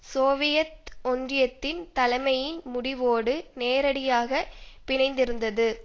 Soviet ஒன்றியத்தின் தலைமையின் முடிவோடு நேரடியாக பிணைந்திருந்தது